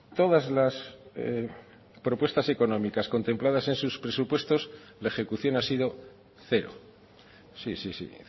todas las propuestas económicas contempladas en sus presupuestos la ejecución ha sido cero sí sí sí